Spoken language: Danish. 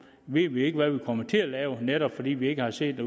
ved vi ikke hvad vi kommer til at lave netop fordi vi ikke har set